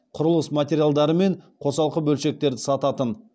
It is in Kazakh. құрылыс материалдары мен қосалқы бөлшектерді сататын